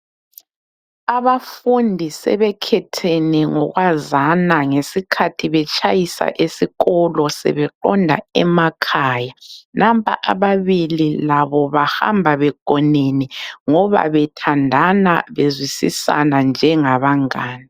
Abafundi sebekhethene ngokwazana ngesikhathi betshayisa esikolo sebeqonda emakhaya. Nampa ababili labo bahamba begonene, ngoba bethandana beziwisisana njengabangane.